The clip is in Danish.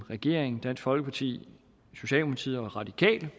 regeringen dansk folkeparti socialdemokratiet og radikale